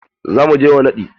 Za mu je wa naɗi.